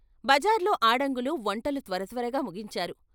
బజార్లో ఆడంగులు వంటలు త్వరత్వరగా ముగించారు.